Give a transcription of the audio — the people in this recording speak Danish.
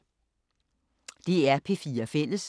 DR P4 Fælles